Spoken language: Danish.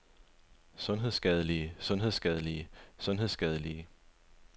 sundhedsskadelige sundhedsskadelige sundhedsskadelige